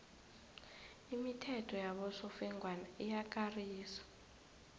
imithetho yabosofengwana iyakarisa